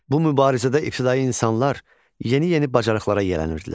Bu mübarizədə ibtidai insanlar yeni-yeni bacarıqlara yələndirdilər.